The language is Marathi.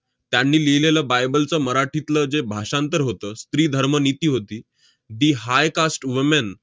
त्यांनी लिहिलेलं bible चं मराठीतलं जे भाषांतर होतं, स्त्रीधर्मनीती होती, the high cast woman